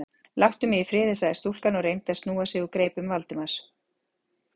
Láttu mig í friði- sagði stúlkan og reyndi að snúa sig úr greipum Valdimars.